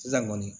Sisan kɔni